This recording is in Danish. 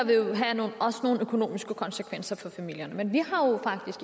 også nogle økonomiske konsekvenser for familierne men